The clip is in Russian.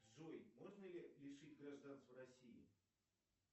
джой можно ли лишить гражданства россии